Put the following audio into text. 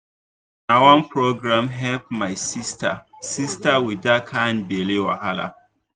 before e dey hard to talk about um that belle matter but um now e um don easy.